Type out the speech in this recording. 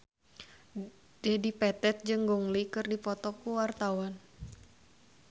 Dedi Petet jeung Gong Li keur dipoto ku wartawan